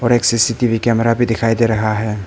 और एक CCTV camera भी दिख रहा है।